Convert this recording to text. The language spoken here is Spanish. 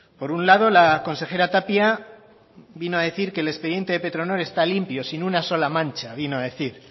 por un lado la consejera tapia vino a decir que el expediente de petronor está limpio sin una sola mancha vino a decir